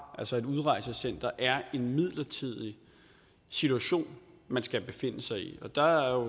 altså et udrejsecenter er en midlertidig situation man skal befinde sig i der er